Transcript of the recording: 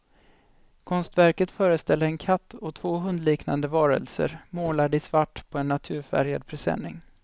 Konstverket föreställer en katt och två hundliknande varelser, målade i svart på en naturfärgad presenning.